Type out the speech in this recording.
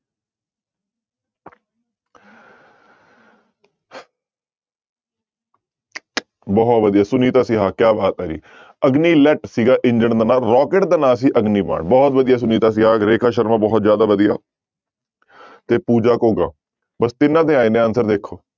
ਬਹੁਤ ਵਧੀਆ ਸੁਨੀਤਾ ਸਿਹਾ ਕਿਆ ਬਾਤ ਹੈ ਜੀ ਅਗਨੀ ਲੈਟ ਸੀਗਾ ਇੰਜਣ ਦਾ ਨਾਂ rocket ਦਾ ਨਾਂ ਸੀ ਅਗਨੀ ਬਾਣ ਬਹੁਤ ਵਧੀਆ ਸੁਨੀਤਾ ਸਿਹਾ, ਰੇਖਾ ਸ਼ਰਮਾ ਬਹੁਤ ਜ਼ਿਆਦਾ ਵਧੀ ਤੇ ਪੂਜਾ ਘੋਗਾ ਬਸ ਤਿੰਨਾਂ ਦੇ ਆਏ ਨੇ answer ਦੇਖੋ।